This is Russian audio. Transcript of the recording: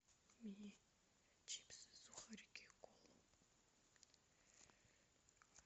мне чипсы сухарики и колу